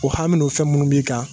O hami ni o fɛn minnu b'i kan.